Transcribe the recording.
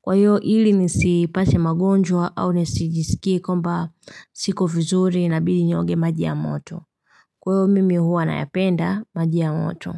Kwa hiyo hili nisipate magonjwa au nisijisikie kwamba siko vizuri inabidi niogee maji ya moto. Kwa hiyo mimi huwa nayapenda maji ya moto.